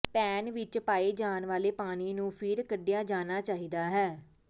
PAN ਵਿਚ ਪਾਏ ਜਾਣ ਵਾਲੇ ਪਾਣੀ ਨੂੰ ਫਿਰ ਕੱਢਿਆ ਜਾਣਾ ਚਾਹੀਦਾ ਹੈ